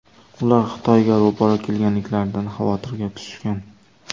Ular Xitoyga ro‘baro‘ kelganliklaridan xavotirga tushishgan.